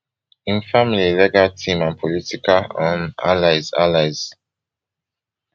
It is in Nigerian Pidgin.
im family legal team and political um allies allies